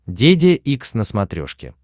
деде икс на смотрешке